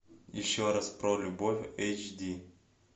еще раз про любовь эйч ди